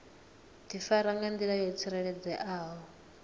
difara nga ndila yo tsireledzeaho